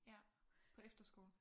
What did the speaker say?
Ja. På efterskole?